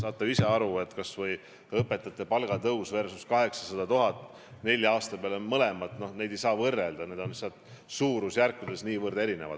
Te saate ju ise aru, et kas või õpetajate palga tõus versus 800 000 eurot nelja aasta peale – neid ei saa võrrelda, need summad on suurusjärkudes niivõrd erinevad.